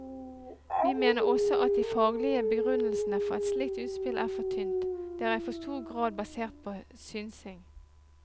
Vi mener også at de faglige begrunnelsene for et slikt utspill er for tynt, det er i for stor grad basert på synsing.